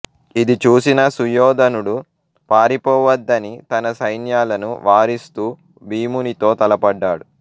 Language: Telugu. ఇది చూసిన సుయోధనుడు పారిపోవద్దని తన సైన్యాలను వారిస్తూ భీమునితో తలపడ్డాడు